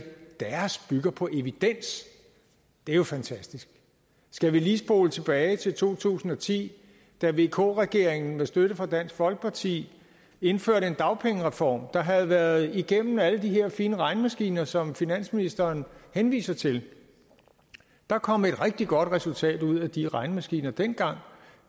at på evidens det er jo fantastisk skal vi lige spole tilbage til to tusind og ti da vk regeringen med støtte fra dansk folkeparti indførte en dagpengereform der havde været igennem alle de her fine regnemaskiner som finansministeren henviser til der kom et rigtig godt resultat ud af de regnemaskiner dengang